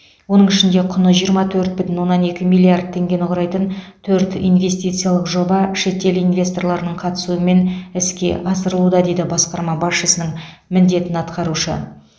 оның ішінде құны жиырма төрт бүтін оннан екі миллиард теңгені құрайтын төрт инвестициялық жоба шетел инвесторларының қатысуымен іске асырылуда дейді басқарма басшысының міндетін атқарушы